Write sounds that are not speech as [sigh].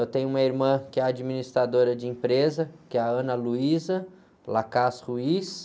Eu tenho uma irmã que é administradora de empresa, que é a. [unintelligible]